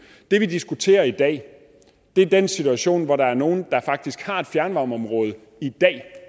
det vi diskuterer i dag er den situation hvor der er nogle der faktisk har et fjernvarmeområde i dag